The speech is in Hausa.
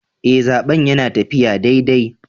Eh, zaben yana taffiya daidai.